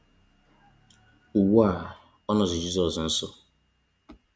Ugbu a, ọ nọzi Jizọs nso.